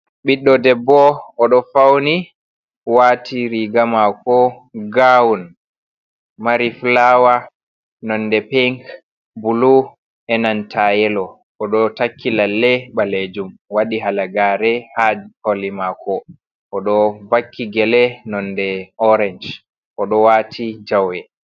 Ɓiɗɗo debbo oɗo fauni wati riga mako gawn mari fawne nonde pink be bulu enanta yelo, oɗo takki lalle balejum wadi halagare ha koli mako oɗo vakki gele nonde orange odo wati jawe.